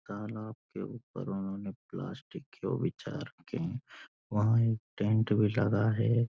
तालाब के ऊपर उन्होंने प्लास्टिक के वो विचार रखे हैं वहाँ एक टेंट भी लगा है।